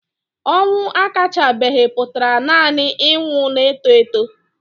Ọnwụ akachabeghị pụtara nanị ịnwụ na-eto eto.